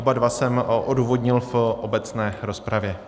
Oba dva jsem odůvodnil v obecné rozpravě.